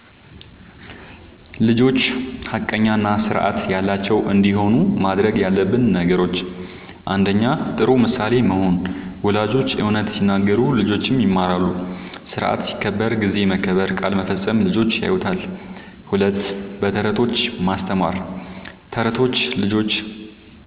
ልጆች ሐቀኛ እና ስርዓት ያላቸው እንዲሆኑ ማድረግ ያለብን ነገሮችን፦ ፩. ጥሩ ምሳሌ መሆን፦ ወላጆች እውነት ሲናገሩ ልጆችም ይማራሉ። ስርዓት ሲከበር (ጊዜ መከበር፣ ቃል መፈጸም) ልጆች ያዩታል። ፪. በተረቶች ማስተማር፦ ተረቶች ልጆች